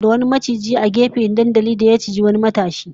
Mutane sun tsorata da wani maciji ya bayyana a gefen dandalin, ya ciji wani matashi